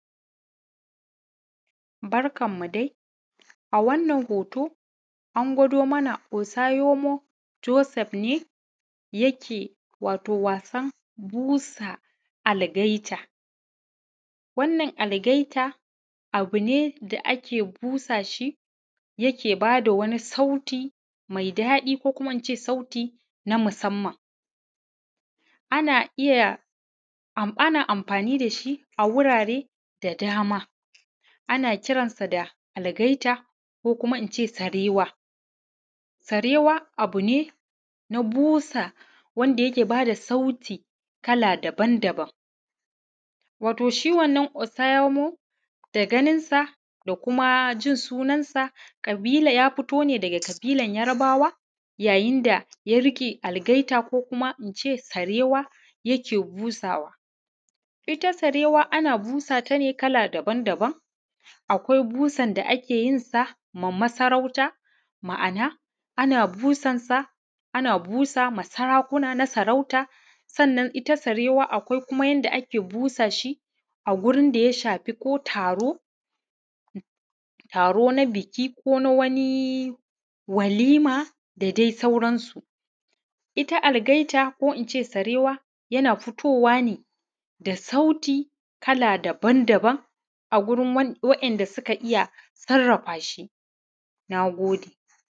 Barkan mu dai a wannan hoto, an ɡwaado mana Osayomɔo Josɛf ne yake, wato wasan bu:sa alɡaitaa. Wannan alɡaitaa abu ne da ake busa shi, yake baa da wani sauti mai daɗi, ko kuma in ce sauti na masamman ana iya ana amfani da shi a wuraare da dama. Ana kiransa da alɡaita, ko kuma in ce sarewa. Sarewa abu ne na busa, wanda yake ba da sauti kala daban-daban, wato, shi wannan Osayomo, da ɡaninsa da kuma jin sunansa, ƙabila ya fito ne daɡa ƙabiilan Yarobawa. Yayin da ya riƙe alɡaita, ko kuma in ce sarewa, yana busawa, ita sarewa ana busata ne kala daban-daban. Akwai busan da ake yin sa na sarautaa ma’ana ana busansa ana busa ma sarakuna na sarauta, sannan ita sarewa akwai yanda ake busa shi a ɡurin da ya shafi ko taro, taro na biki, ko wani walima da dai sauransu. Ita alɡaita, ko in ce sarewa, yana fito wa ne da sauti kala daban-daban a wurin waɗanda suka iya sarafa shi. Na ɡode.